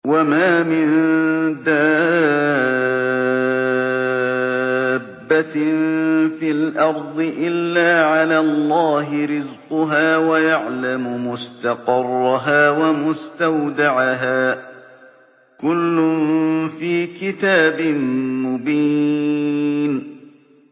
۞ وَمَا مِن دَابَّةٍ فِي الْأَرْضِ إِلَّا عَلَى اللَّهِ رِزْقُهَا وَيَعْلَمُ مُسْتَقَرَّهَا وَمُسْتَوْدَعَهَا ۚ كُلٌّ فِي كِتَابٍ مُّبِينٍ